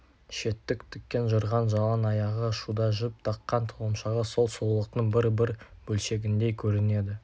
шеттік тікен жырған жалаң аяғы шуда жіп таққан тұлымшағы сол сұлулықтың бір-бір бөлшегіндей көрінеді